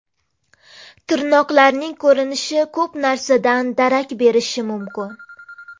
Tirnoqlarning ko‘rinishi ko‘p narsadan darak berishi mumkin.